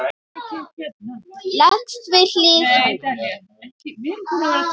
Leggst við hlið hennar.